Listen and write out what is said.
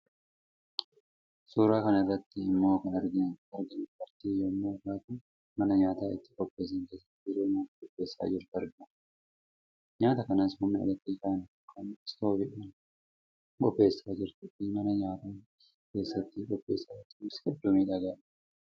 Suuraa kana irratti immoo kan arginu dubartii yommuu taatu mana nyaata itti qopheessan keesaatti yeroo nyaata qopheessaa jirtu argina. Nyaata kanas humna eleektrikaan yookaan Istooviin lan qopheessaa jirtuu fi manni nyaati keessatti qopheessaa jirtu kunis hedduu miidhagaadha.